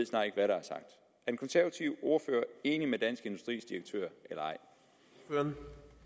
den konservative ordfører enig med dansk industris direktør eller ej